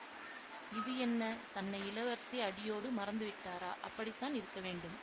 இது என்ன தன்னை இளவரசி அடியோடு மறந்து விட்டாரா அப்படித்தான் இருக்க வேண்டும்